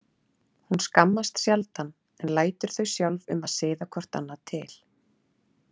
Hún skammast sjaldan en lætur þau sjálf um að siða hvort annað til.